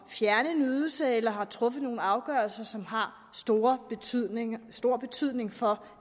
fjerne en ydelse eller har truffet en afgørelse som har stor betydning stor betydning for